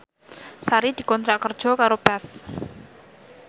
Sari dikontrak kerja karo Path